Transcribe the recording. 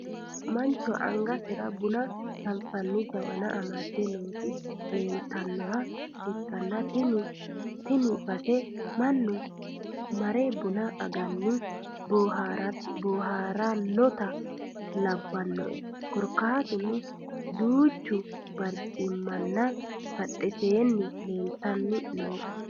Mancho angasera buna gafi'nani jawana amadde nooti leelitannoha ikkana tini baseno mannu mare buna agani booharannota labbanoe korkaatuno duucha barichimmano badheseenni leeltanni nooe